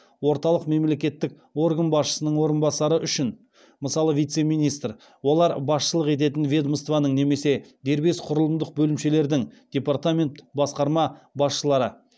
орталық мемлекеттік орган басшысының орынбасары үшін олар басшылық ететін ведомствоның немесе дербес құрылымдық бөлімшелердің басшылары